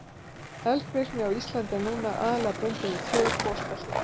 Eldvirkni á Íslandi er núna aðallega bundin við tvö gosbelti.